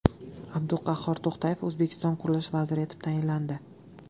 Abduqahhor To‘xtayev O‘zbekiston qurilish vaziri etib tayinlandi.